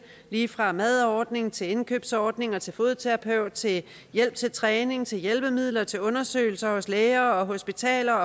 lige fra madordning til indkøbsordning til fodterapeut til hjælp til træning til hjælpemidler til undersøgelser hos læger og hospitaler